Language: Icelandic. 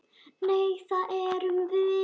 Nei, það erum við.